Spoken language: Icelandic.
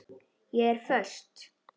Ég er föst.